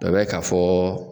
O bɛ k'a fɔ